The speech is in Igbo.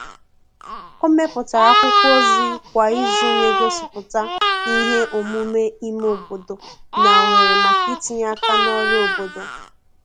o meputara akwụkwo ozi kwa izu n'egosiputa ihe omume ime obodo na ohere maka itinye aka n'ọrụ obodo